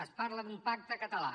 es parla d’un pacte català